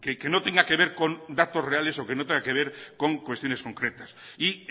que no tenga que ver con datos reales o que no tenga que ver con cuestiones concretas y